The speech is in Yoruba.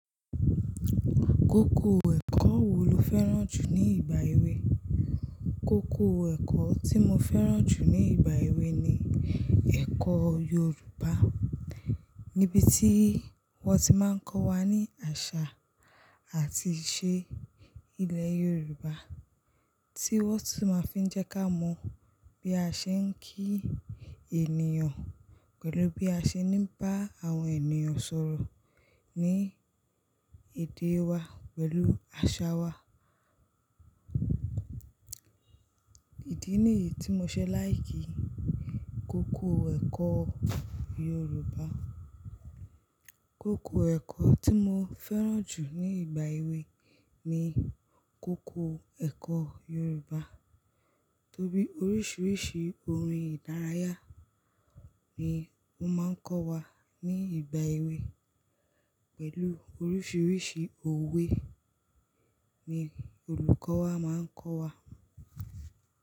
Kókó ẹ̀kọ́ wo lo fẹ́ràn jù ní ìgbà èwe? Kókó ẹ̀kọ́ tí mo fẹ́ràn jù ní ìgbà èwe ni ẹ̀kọ́ Yorùbá. Nibi tí wọ́n ti máa ń kọ́ wa ní àṣà àti ìṣe ilẹ̀ Yorùbá, tí wọ́n tun máa fi ń jẹ́ ká mọ bí a ṣe ń kí ènìyàn, pẹ̀lú bí a ṣe ní bá àwọn ènìyàn sọ̀rọ̀ ní èdè wa pẹ̀lú àṣà wa. Ìdí nìyí tí mo ṣe like kókó ẹ̀kọ́ Yorùbá. Kókó ẹ̀kọ́ tí mo fẹ́ràn jù ní ìgbà èwe ni kókó ẹ̀kọ́ Yorùbá. Torí oríṣiríṣi orin ìdárayá ni wọ́n máa ń kọ́ wa ní ìgbà èwe pẹ̀lú oríṣiríṣi òwe ni olùkọ́ wa máa ń kọ́ wa.